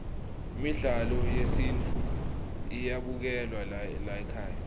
midlalo yesintfu iyabukelwa laykhaya